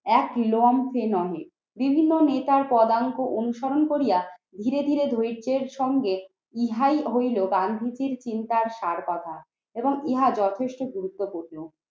এক লঞ্চে নহে। বিভিন্ন নেতার পদাঙ্ক অনুসরণ করিয়া ধীরে ধীরে দরিদ্রের সঙ্গে ইহাই হইল গান্ধীজীর চিন্তার সার কথা এবং ইহা যথেষ্ট গুরুত্বপূর্ণ।